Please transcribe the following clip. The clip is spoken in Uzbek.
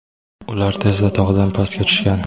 ular tezda tog‘dan pastga tushgan.